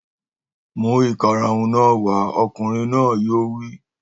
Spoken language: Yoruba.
Mú ìkarahun náà wà! Ọkùnrin náà yóò wí.